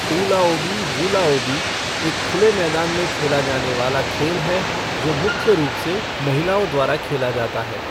ऊलाओबी वूलाओबी एक खुले मैदान में खेला जाने वाला खेल है जो मुख्य रूप से महिलाओं द्वारा खेला जाता है।